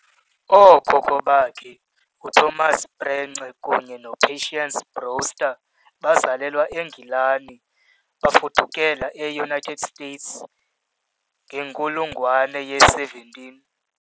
Ookhokho bakhe, uThomas Prence kunye noPatience Brewster, bazalelwa eNgilani bafudukela eUnited States ngenkulungwane ye- 17 .